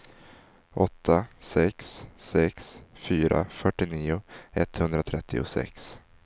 åtta sex sex fyra fyrtionio etthundratrettiosex